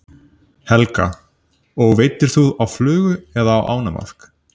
Helga: Og veiddir þú á flugu eða ánamaðk?